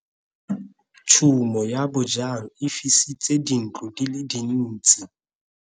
Tshumo ya bojang e fisitse dintlo di le dintsi.